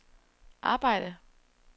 arbejde